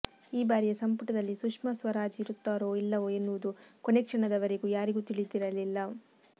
ಈ ಬಾರಿಯ ಸಂಪುಟದಲ್ಲಿ ಸುಷ್ಮಾ ಸ್ವರಾಜ್ ಇರುತ್ತಾರೋ ಇಲ್ಲವೋ ಎನ್ನುವುದು ಕೊನೆ ಕ್ಷಣದವರೆಗೂ ಯಾರಿಗೂ ತಿಳಿದಿರಲಿಲ್ಲ